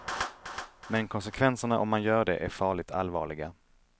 Men konsekvenserna om man gör det är farligt allvarliga.